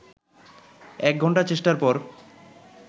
১ ঘন্টা চেষ্টার পর